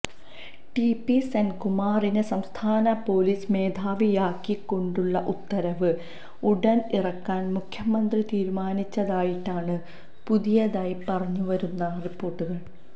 T P സെന്കുമാറിനെ സംസ്ഥാന police മേധാവിയാക്കിക്കൊണ്ടുള്ള ഉത്തരവ് ഉടന് ഇറക്കാന് മുഖ്യമന്ത്രി തീരുമാനിച്ചതായിട്ടാണ് പുതിയതായി പുറത്തു വരുന്ന റിപോർട്ടുകൾ